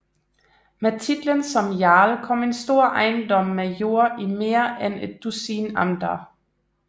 Med titlen som jarl kom en stor ejendom med jord i mere end et dusin amter